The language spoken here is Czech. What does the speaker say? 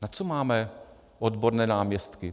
Na co máme odborné náměstky?